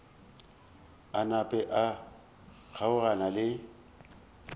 a napa a kgaogana le